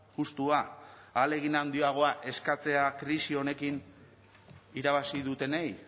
justua ahalegin handiagoa eskatzea krisi honekin irabazi dutenei